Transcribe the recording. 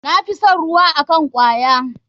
Na fi son ruwa akn kwaya.